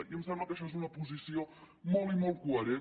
i em sembla que això és una posició molt i molt coherent